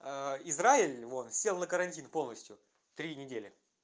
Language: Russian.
а израиль вон сел на карантин полностью три недели